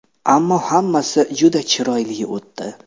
Ammo hammasi juda chiroyli o‘tdi.